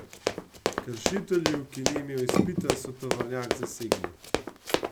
Kršitelju, ki ni imel izpita, so tovornjak zasegli.